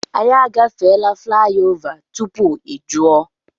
Anyị a gafeela flaị ova tupu ị jụọ.